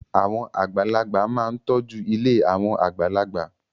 Àwọn àgbàlagbà máa ń tọ́jú ilé àwọn àgbàlagbà.